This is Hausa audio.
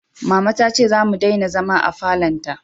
Mama ta ce za mu dena zama a falon ta